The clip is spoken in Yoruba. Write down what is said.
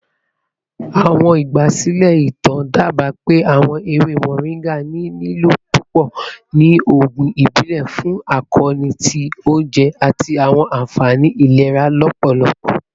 Awọn igbasilẹ itan daba pe awọn ewe moringa ni lilo pupọ ni oogun ibile fun akoonu ti ounjẹ ati awọn anfani ilera lọpọlọpọ.